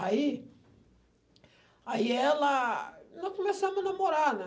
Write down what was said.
Aí... Aí ela... Nós começamos a namorar, né?